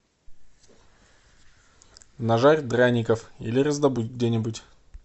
нажарь драников или раздобудь где нибудь